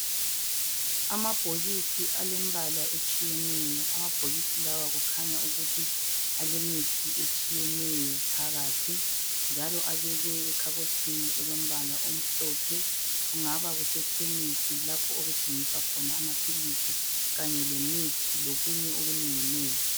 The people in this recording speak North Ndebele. Amabhokisi alembalaa etshiyeneyo amabhokisi lawa kukhanya ukuthi alemithi etshiyeneyo phakathi Njalo abekwe ekhabothini elombala omhlophe kungaba kuse khemisi lapho okuthengiswa khona amaphilisi Kanye lemithi lokunye okunenginengi